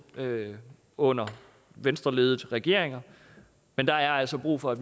under venstreledede regeringer men der er altså brug for